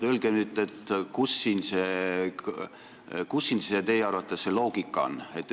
Öelge nüüd, kus siin teie arvates loogika on!